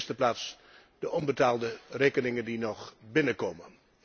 In de eerste plaats de onbetaalde rekeningen die nog binnenkomen.